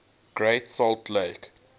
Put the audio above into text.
great salt lake